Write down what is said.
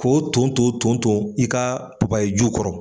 K'o ton to ton ton i kaa papaye ju kɔrɔ.